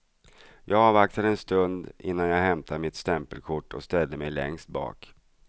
Jag avvaktade en stund innan jag hämtade mitt stämpelkort och ställde mig längst bak.